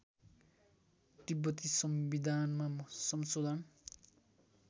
तिब्बती संविधानमा संशोधन